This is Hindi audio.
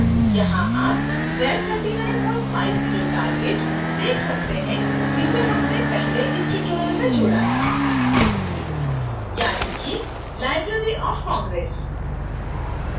यहां आप z3950 target देख सकते हैं जिसे हमने पहले इस tutorial में जोड़ा था